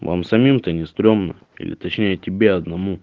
вам самим то не стремно или точнее тебе одному